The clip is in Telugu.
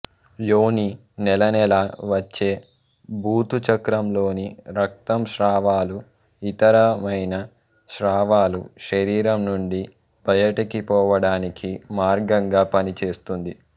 యోని నెలనెలా వచ్చే ఋతుచక్రం లోని రక్తం స్రావాలు ఇతరమైన స్రావాలు శరీరం నుండి బయటికి పోవడానికి మార్గంగా పనిచేస్తుంది